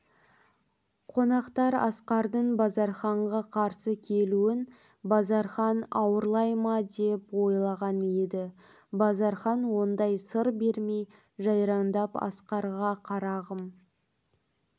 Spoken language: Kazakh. қонақтар асқардың базарханға қарсы келуін базархан ауырлай ма деп ойлаған еді базархан ондай сыр бермей жайраңдап асқарға қарағым